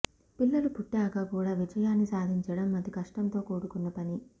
పిల్లలు పుట్టాక కూడా విజయాన్ని సాధించడం అతి కష్టంతో కూడుకున్న పని